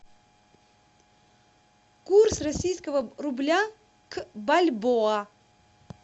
курс российского рубля к бальбоа